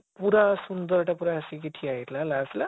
ପୁରା ସୁନ୍ଦର ଟା ପୁରା ଆସିକି ଠିଆ ହେଇଥିଲା ହେଲା ଆସିଲା